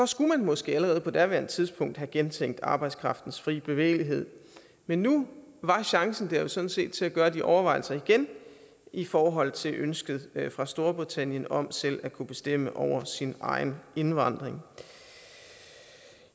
skulle man måske allerede på daværende tidspunkt have gentænkt arbejdskraftens fri bevægelighed men nu var chancen der jo sådan set til at gøre de overvejelser igen i forhold til ønsket fra storbritannien om selv at kunne bestemme over sin egen indvandring